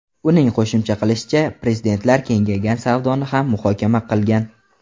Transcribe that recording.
Uning qo‘shimcha qilishicha, prezidentlar kengaygan savdoni ham muhokama qilgan.